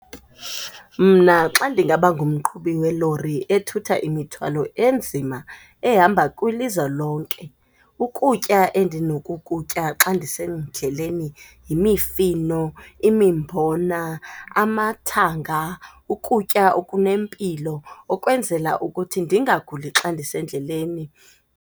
Mna xa ndingaba ngumqhubi welori ethutha imithwalo enzima ehamba kwilizwe lonke, ukutya endinokukutya xa ndisendleleni yimifino, imimbona, amathanga, ukutya okunempilo okwenzela ukuthi ndingaguli xa ndisendleleni.